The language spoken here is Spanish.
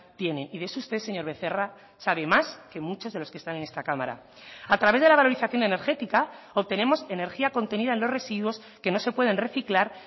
tiene y de eso usted señor becerra sabe más que muchos de los que están en esta cámara a través de la valorización energética obtenemos energía contenida en los residuos que no se pueden reciclar